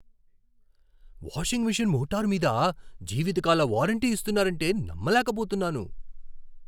Washing machine motor మీద జీవితకాల warranty ఇస్తున్నారంటే నమ్మలేకపోతున్నాను.